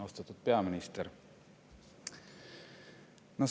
Austatud peaminister!